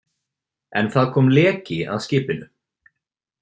En það kom leki að skipinu.